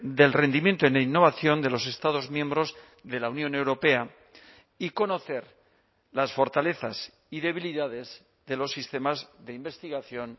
del rendimiento en innovación de los estados miembros de la unión europea y conocer las fortalezas y debilidades de los sistemas de investigación